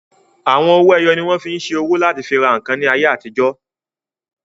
Àwọn owó ẹyọ ni wọ́n fí n ṣe owó láti fi ra ǹkan ní ayé àtijọ́